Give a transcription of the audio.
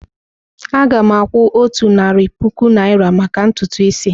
Aga m akwụ otu narị puku naira maka ntutu isi.